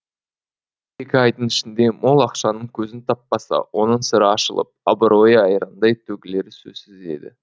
екі айдың ішінде мол ақшаның көзін таппаса оның сыры ашылып абыройы айрандай төгілері сөзсіз еді